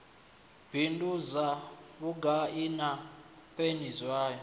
bindudzwa vhugai na peni zwayo